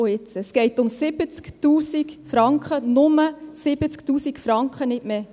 Es geht um 70 000 Franken, nur um 70 000 Franken, nicht mehr.